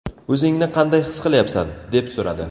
O‘zingni qanday his qilyapsan?”, deb so‘radi.